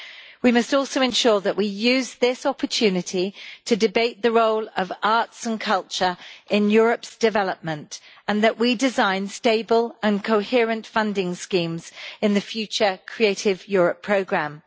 We must also ensure that we use this opportunity to debate the role of arts and culture in Europe's development, and that we design stable and coherent funding schemes in the future Creative Europe programme.